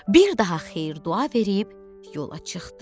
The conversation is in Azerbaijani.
Bir daha xeyir dua verib yola çıxdı.